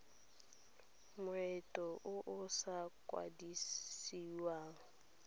moento o o sa kwadisiwang